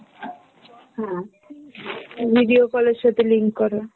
video call এর সাথে link করা।